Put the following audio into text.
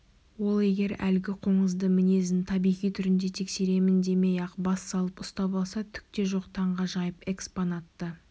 ол егер әлгі қоңызды мінезін табиғи түрінде тексеремін демей-ақ бас салып ұстап алса түк те жоқ таңғажайып экспонатты